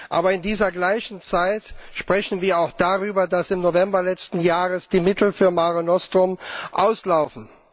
Aber in der gleichen Zeit sprechen wir auch darüber, dass im November letzten Jahres die Mittel für Mare Nostrum auslaufen.